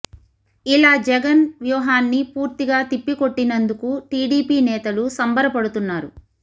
ఇలా జగన్ వ్యూహాన్ని పూర్తిగా తిప్పికొట్టినందుకు టిడిపి నేతలు సంబర పడుతున్నారు